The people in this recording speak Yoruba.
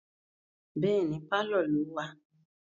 Bẹ́ẹ̀ni, pálọ̀ ló wà